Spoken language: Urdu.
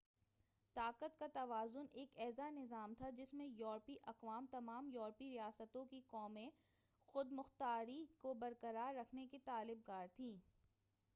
طاقت کا توازن ایک ایسا نظام تھا جس میں یورپی اقوام تمام یورپی ریاستوں کی قومی خودمختاری کو برقرار رکھنے کی طلب گار تھیں